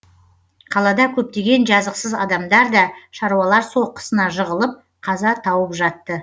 қалада көптеген жазықсыз адамдар да шаруалар соққысына жығылып қаза тауып жатты